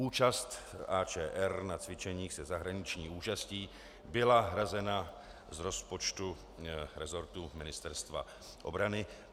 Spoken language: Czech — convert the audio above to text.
Účast AČR na cvičeních se zahraniční účastí byla hrazena z rozpočtu resortu Ministerstva obrany.